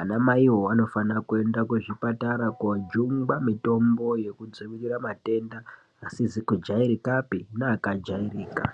anamaiwo anofanira kuenda kuzvipatara kujungwa mitombo yokudzivirira matenda asizikujairikapi neakajairika.